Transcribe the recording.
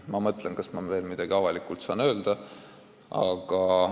Ma mõtlen, kas ma veel midagi avalikult saan öelda ...